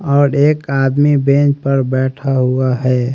और एक आदमी बेंच पर बैठा हुआ है।